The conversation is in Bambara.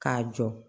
K'a jɔ